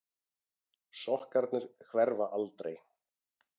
Sokkarnir hverfa aldrei.